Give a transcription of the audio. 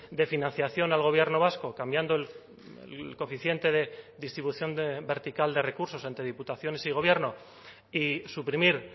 de financiación al gobierno vasco cambiando el coeficiente de distribución vertical de recursos ante diputaciones y gobierno y suprimir